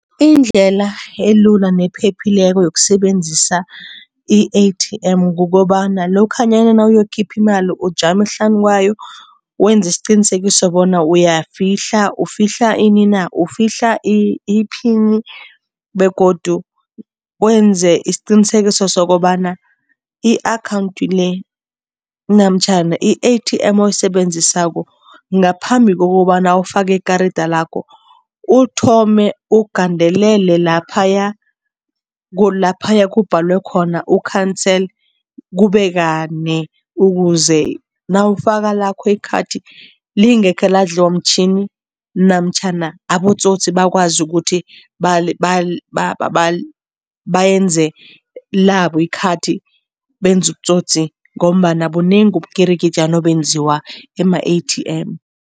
Indlela elula nephephileko yokusebenzisa i-A_T_M kukobana lokhanyana nawuyokukhipha imali ujame hlanu kwayo, wenze isiqinisekiso bona uyayifihla, ufihla ini na? Ufihla iphini begodu wenze isiqinisekiso sokobana i-akhawundi le namtjhana i-A_T_M oyisebenzisako ngaphambi kokobana ufake ikarida lakho, uthome ugandelele laphaya laphaya kubhadalwe khona u-cancel kube kane ukuze nawufaka lakho ikhathi, lingekhe ladliwa mtjhini namtjhana abotsotsi bakwazi ukuthi bayenze labo ikhathi, benze ubutsotsi ngombana bunengi ubukirikitjana obenziwa ema-A_T_M.